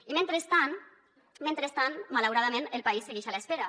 i mentrestant mentrestant malauradament el país segueix a l’espera